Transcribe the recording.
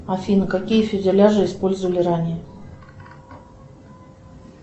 афина какие фюзеляжи использовали ранее